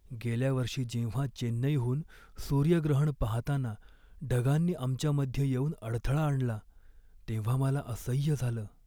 गेल्या वर्षी जेव्हा चेन्नईहून सूर्यग्रहण पाहताना ढगांनी आमच्यामध्ये येऊन अडथळा आणला तेव्हा मला असह्य झालं.